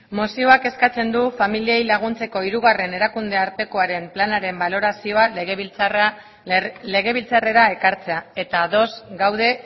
mozioak eskatzen du familiei laguntzeko hirugarren erakundeartekoaren planaren balorazioa legebiltzarrera ekartzea eta ados gaude